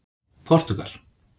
Portúgal